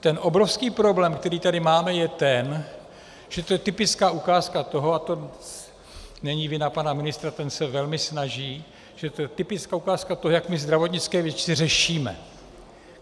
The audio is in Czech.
Ten obrovský problém, který tady máme, je ten, že to je typická ukázka toho - a to není vina pana ministra, ten se velmi snaží - že to je typická ukázka toho, jak my zdravotnické věci řešíme.